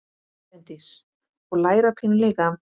Bryndís: Og læra pínu líka?